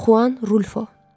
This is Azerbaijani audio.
Xuan Rulfo.